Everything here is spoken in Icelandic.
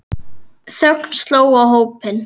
Þögn sló á hópinn.